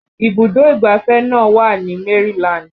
Ibùdó ìgbáfẹ́ náà wà ní Maryland